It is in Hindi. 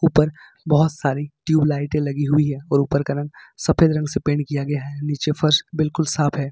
ऊपर बहोत सारी ट्यूबलाइटे लगी हुई है और ऊपर का रंग सफेद रंग से पेंट किया गया है नीचे फर्श बिल्कुल साफ है।